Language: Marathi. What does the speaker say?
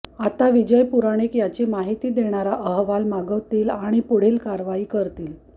आता विजय पुराणिक याची माहिती देणारा अहवाल मागवतील आणि पुढील कारवाई करतील